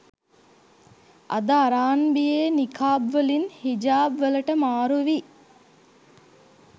අද අරාන්බියෙ නිකාබ් වලින් හිජාබ් වලට මාරු වී